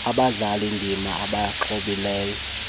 abadlali ndima abasemxholweni